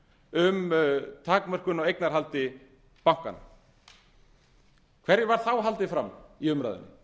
um takmörkun á eignarhaldi bankanna hverju var þá haldið fram í umræðunni